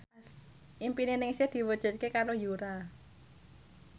impine Ningsih diwujudke karo Yura